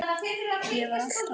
Ég var alltaf með.